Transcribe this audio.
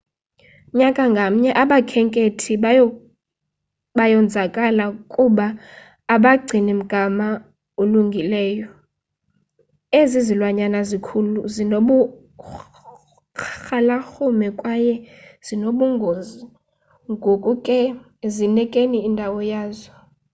nyaka ngamnye abakhenkethi bayonzakala kuba abagcini mgama ulungileeyo ezi zilwanyana zikhulu, zinoburhalarhume kwaye zinobungozi ngoko ke zinikeni indawo yazo